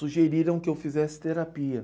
Sugeriram que eu fizesse terapia.